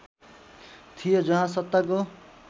थियो जहाँ सत्ताको